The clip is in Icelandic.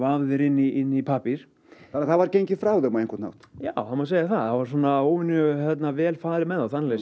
vafðir inn í pappír þannig að það var gengið frá þeim á einhvern hátt já það má segja það var óvenju vel farið með þá þannig